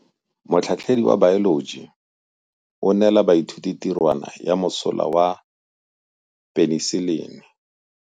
Motlhatlhaledi wa baeloji o neela baithuti tirwana ya mosola wa peniselene.